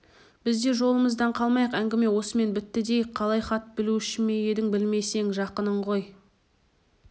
біз де жолымыздан қалмайық әңгіме осымен бітті дейік қалай хат білуші ме едің білмесең жақының ғой